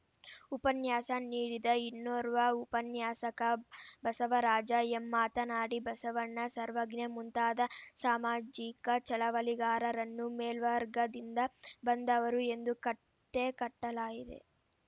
ಉಪನ್ಯಾಸ ನೀಡಿದ ಇನ್ನೋರ್ವ ಉಪನ್ಯಾಸಕ ಬಸವರಾಜ ಎಂ ಮಾತನಾಡಿ ಬಸವಣ್ಣ ಸರ್ವಜ್ಞ ಮುಂತಾದ ಸಾಮಾಜಿಕ ಚಳವಳಿಗಾರರನ್ನು ಮೇಲ್ವರ್ಗದಿಂದ ಬಂದವರು ಎಂದು ಕತ್ತೆ ಕಟ್ಟಲಾಗಿದೆ